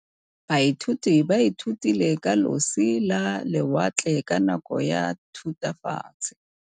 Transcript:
Baithuti ba ithutile ka losi lwa lewatle ka nako ya Thutafatshe.